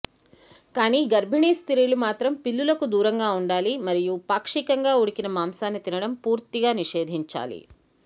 కానీ గర్భిణీ స్త్రీలు మాత్రం పిల్లులకు దూరం గా ఉండాలి మరియు పాక్షికంగా ఉడికిన మాంసాన్ని తినడం పూర్తిగా నిషేధించాలి